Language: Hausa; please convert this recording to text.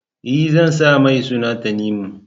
E, zan sa mai suna Tanimu.